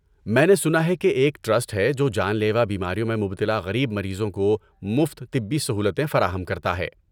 میں نے سنا ہے کہ ایک ٹرسٹ ہے جو جان لیوا بیماریوں میں مبتلا غریب مریضوں کو مفت طبی سہولتیں فراہم کرتا ہے۔